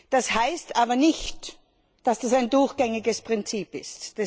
Das heißt aber nicht, dass das ein durchgängiges Prinzip ist.